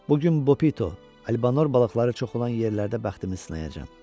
Bu gün Bopito, Albonor balıqları çox olan yerlərdə bəxtimi sınayacam.